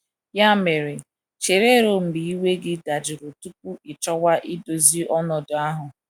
Ya mere, chere ruo mgbe iwe gị dajụrụ tupu ị chọwa idozi ọnọdụ ahụ.